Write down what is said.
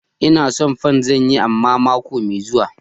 Ina son pan. Zan yi amma mako mai zuwa